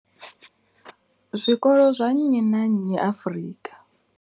zwikolo zwa nnyi na nnyi Afrika.